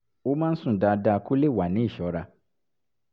ó máa ń sùn dáadáa kó lè wà ní ìṣọra